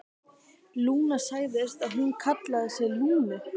Lúna, sagðirðu að hún kallaði sig Lúnu?